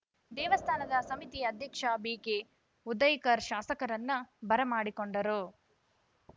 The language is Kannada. ದೇವಸ್ಥಾನದ ಸಮಿತಿ ಅಧ್ಯಕ್ಷ ಬಿಕೆ ಉದಯಕರ್‌ ಶಾಸಕರನ್ನು ಬರಮಾಡಿಕೊಂಡರು